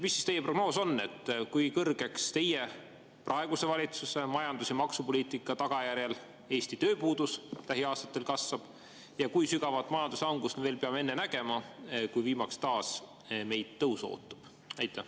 Mis on teie prognoos, kui suureks Eesti tööpuudus teie praeguse valitsuse majandus- ja maksupoliitika tagajärjel lähiaastatel kasvab ja kui sügavat majanduslangust me peame nägema enne, kui meid viimaks ootab taas tõus?